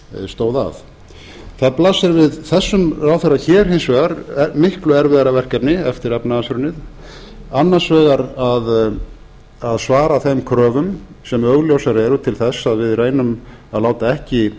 stóð að það blasir við þessum ráðherra hér hins vegar miklu erfiðara verkefni eftir efnahagshrunið annars vegar að svara þeim kröfum sem augljósar eru til þess að við reynum að láta ekki